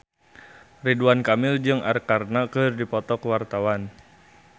Ridwan Kamil jeung Arkarna keur dipoto ku wartawan